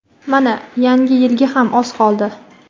Mana yangi yilga ham oz qoldi.